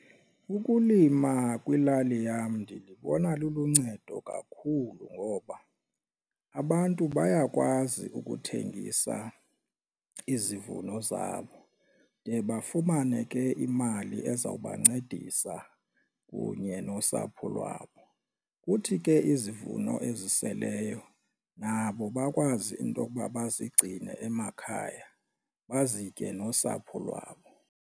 Ukulima kwilali yam ndilibona luluncedo kakhulu ngoba abantu bayakwazi ukuthengisa izivuno zabo de bafumane ke imali ezawubancedisa kunye nosapho lwabo. Kuthi ke izivuno eziseleyo nabo bakwazi into okuba bazigcine emakhaya bazitye nosapho lwabo.